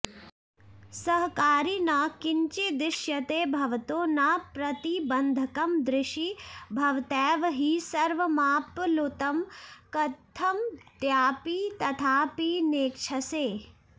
सहकारि न किञ्चिदिष्यते भवतो न प्रतिबन्धकं दृषि भवतैव हि सर्वमाप्लुतं कथमद्यापि तथापि नेक्षसे